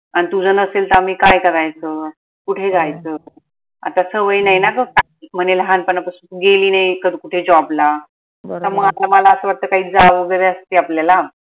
अन तु जर नसेल तर आम्ही काय करायच? कुठे जायच? आता सवय नाय ना ग म्हने लाहान पनापासून तु गेली नाई कधी कुठे job ला मला असं वाटत काई जाऊ वगैरे असती आपल्याला